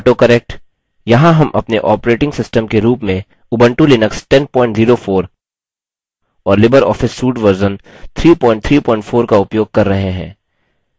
autocorrectस्वसुधारयहाँ हम अपने operating system के रूप में उबंटु लिनक्स 1004 और लिबर ऑफिस सूट वर्जन 334 का उपयोग कर रहे हैं